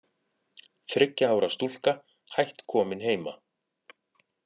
Þriggja ára stúlka hætt komin heima